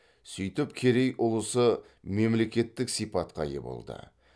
сөйтіп керей ұлысы мемлекеттік сипатқа ие болды